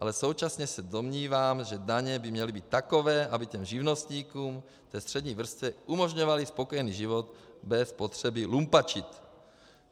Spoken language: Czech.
Ale současně se domnívám, že daně by měly být takové, aby těm živnostníkům, té střední vrstvě, umožňovaly spokojený život bez potřeby lumpačit.